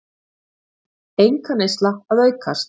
Einkaneysla að aukast